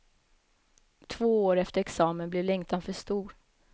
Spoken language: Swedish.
Två år efter examen blev längtan för stor.